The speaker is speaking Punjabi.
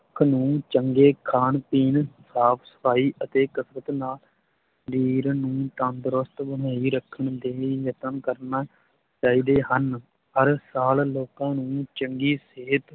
ਚੰਗੇ ਖਾਣ ਪੀਣ, ਸਾਫ਼ ਸਫ਼ਾਈ ਅਤੇ ਕਸਰਤ ਨਾਲ ਸਰੀਰ ਨੂੰ ਤੰਦਰੁਸਤ ਬਣਾਈ ਰੱਖਣ ਦੇ ਲਈ ਯਤਨ ਕਰਨਾ ਚਾਹੀਦੇ ਹਨ, ਹਰ ਸਾਲ ਲੋਕਾਂ ਨੂੰ ਚੰਗੀ ਸਿਹਤ